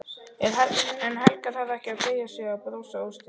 En Helga þarf ekki að beygja sig og brosa óstyrk.